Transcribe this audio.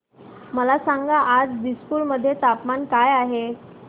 मला सांगा आज दिसपूर मध्ये तापमान काय आहे